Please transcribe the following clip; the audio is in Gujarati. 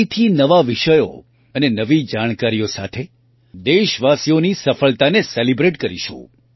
ફરીથી નવા વિષયો અને નવી જાણકારીઓ સાથે દેશવાસીઓની સફળતાને સેલિબ્રેટ કરીશું